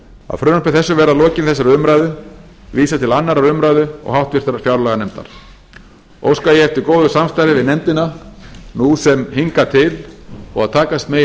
að frumvarpi þessu verði að lokinni þessari umræðu vísað til annarrar umræðu og háttvirtrar fjárlaganefndar óska ég eftir góðu samstarfi við nefndina nú sem hingað til og að takast megi að